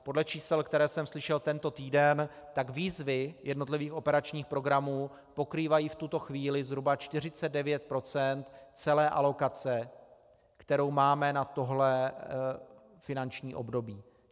Podle čísel, která jsem slyšel tento týden, tak výzvy jednotlivých operačních programů pokrývají v tuto chvíli zhruba 49 % celé alokace, kterou máme na tohle finanční období.